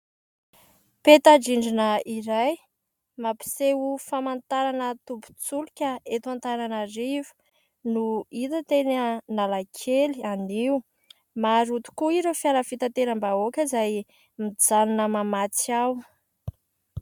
Peta-drindrina iray mampiseho famantarana tombin-tsolika eto Antananarivo no hita teny Analakely anio. Maro tokoa ireo fiara fitateram-bahoaka izay mijanona mamatsy ao.